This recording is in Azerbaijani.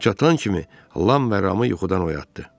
O çatan kimi Lam və Ramı yuxudan oyatdı.